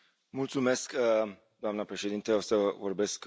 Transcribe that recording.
Doamnă președintă, o să vorbesc în limba română.